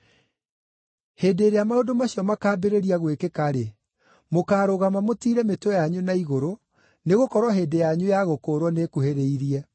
Hĩndĩ ĩrĩa maũndũ macio makaambĩrĩria gwĩkĩka-rĩ, mũkaarũgama mũtiire mĩtwe yanyu na igũrũ, nĩgũkorwo hĩndĩ yanyu ya gũkũũrwo nĩĩkuhĩrĩirie.”